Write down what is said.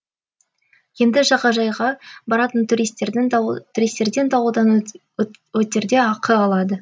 енді жағажайға баратын туристерден дауалдан өтерде ақы алады